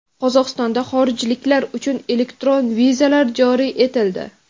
Qozog‘istonda xorijliklar uchun elektron vizalar joriy etildi.